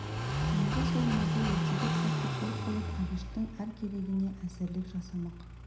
енді сол малды ертерек сатып пұл қылып әбіштің әр керегіне әзірлік жасамақ